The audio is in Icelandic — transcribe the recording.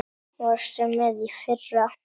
Varstu með í fyrra?